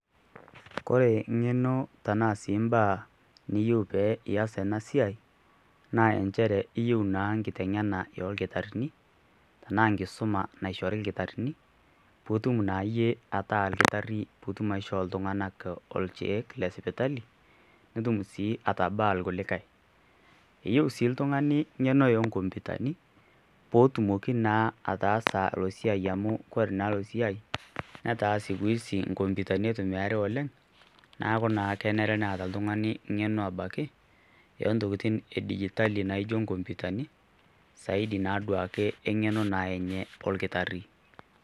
Kore eng'eno tenaa si mbaa niyieu pe ias enasiai, naa injere iyieu naa nkiteng'ena orkitarrini, tanaa nkisuma naishori kitarrini, putum naayie ataa kitarri putum aishoo ltung'anak ocheek le sipitali, nutum si atabaa kulikae. Eyieu si iltung'ani ng'eno enkompitani, potumoki naa ataasa lo siai amu kore naa lo siai, netaa siku hizi nkompitani itumiai oleng',neeku naa kenare neeta iltung'ani ng'eno abaki, ontokiting edijitali naijo nkompitani, saidi naduake eng'eno naa enye olkitarri.